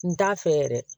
N t'a fɛ yɛrɛ